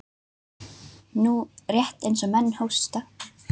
Nú, rétt eins og menn hósta.